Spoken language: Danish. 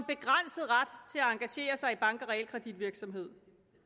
engagere sig i bank og realkreditvirksomhed